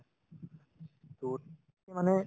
মানে